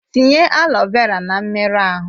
Tinye aloe vera na mmerụ ahụ!